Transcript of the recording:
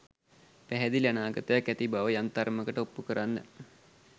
පැහැදිලි අනාගතයක් ඇති බව යම් තරමකට ඔප්පු කරන්න